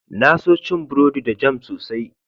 Na so cin burodi da jam sosai.